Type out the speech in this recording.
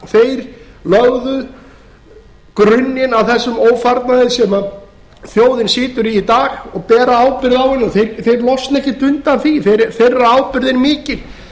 þeir lögðu grunninn að þessum ófarnaði sem þjóðin situr í í dag og bera ábyrgð á henni þeir losna ekki undan því þeirra ábyrgð er mikil